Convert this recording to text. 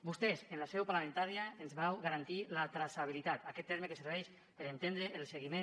vostès en la seu parlamentària ens vau garantir la traçabilitat aquest terme que serveix per entendre el seguiment